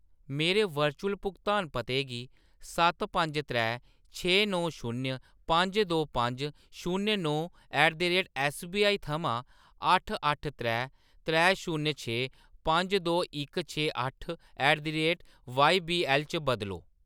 मेरे वर्चुअल भुगतान पते गी सत्त पंज त्रै छे नौ शून्य पंज दो पंज शून्य नौ at the rate S B I थमां अट्ठ अट्ठ त्रै त्रै शून्य छे पंज दो इक छे अट्ठ at the rate Y B L च बदलो